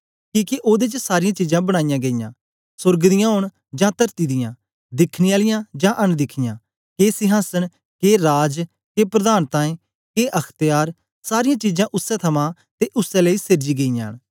किके ओदे च सारीयां चीजां बनाई गेईयां सोर्ग दियां ओंन जां तरती दियां दिखने आलियां जां अनदिखयां के सिंहासन के राज के प्रधानताएं के अख्त्यार सारीयां चीजां उसै थमां ते उसै लेई सेर्जी गेईयां न